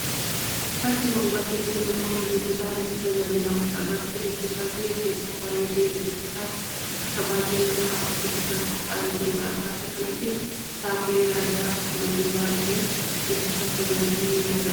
Bakki kun bakka itti namni dubbisaaf itti tajaajilamudha. Bakki dubbisaa kunis hedduu bareedee dubbisaaf akka baay'ee nama hawwatutti kan qophaa'ee jirudha. Bakka kanattis kitaaboleen garaa garaa akkasumallee barruuleen dubbisaaf tajaajilu ni mul'ata.